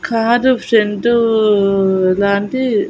కాదు సెంటు లాంటి--